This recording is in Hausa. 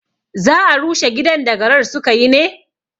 Za a rushe gidan da garar sukayi ne?